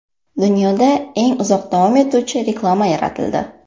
Dunyodagi eng uzoq davom etuvchi reklama yaratildi .